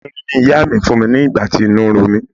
Efinrin ni ìyá mi fún mi nígbà tí inú ro mí.